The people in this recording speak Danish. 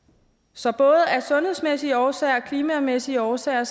så både af sundhedsmæssige årsager og klimamæssige årsager